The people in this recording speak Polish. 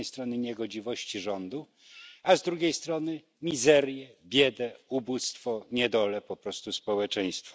Z jednej strony niegodziwości rządu, a z drugiej strony mizerię, biedę, ubóstwo, niedolę po prostu społeczeństwa.